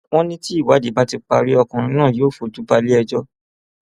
wọn ní tí ìwádìí bá ti parí ọkùnrin náà yóò fojú balẹẹjọ